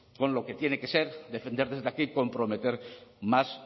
con lo que tiene que ser defender desde aquí comprometer más